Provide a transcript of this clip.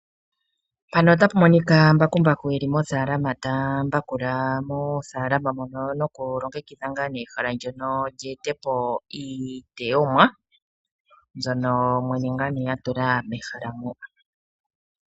Mpano otapu monika mbakumbaku eli mofaalama tambakula mofaalama mono noku longekidha ngaa nee ehala lyono lyeetepo iitoyomwa mbyono mwene ngaa nee atula mehala mo.